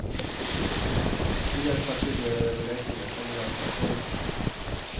Fler partiledaröverläggningar kommer därför att hållas.